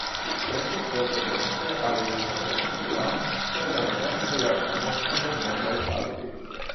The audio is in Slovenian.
Tretji svet se bo hote ali nehote maščeval, ker ga nobena vojaška moč ne bo zmogla ustaviti.